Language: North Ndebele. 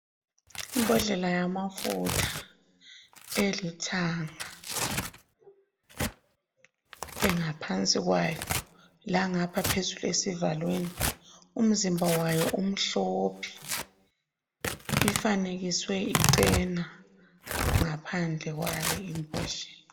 Imbodlela yamafutha elithanga engaphansi kwayo langapha phezulu esivalweni. Umzimba wayo umhlophe, ifanekiswe ichena ngaphandle kwale imbodlela.